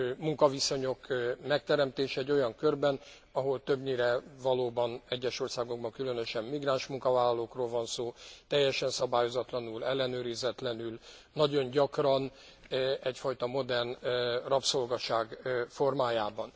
munkaviszonyok megteremtése egy olyan körben, ahol többnyire valóban, egyes országokban különösen migráns munkavállalókról van szó, teljesen szabályozatlanul, ellenőrizetlenül, nagyon gyakran egyfajta modern rabszolgaság formájában.